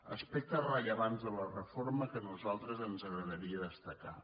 aspectes rellevants de la reforma que a nosaltres ens agradaria destacar